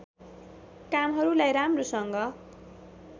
कामहरुलाई राम्रोसँग